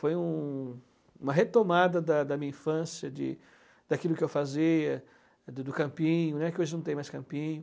Foi um uma retomada da da minha infância, de daquilo que eu fazia, do campinho, né, que hoje não tem mais campinho.